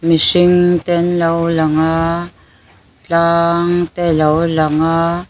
mihring te an lo lang a tlang te a lo lang a.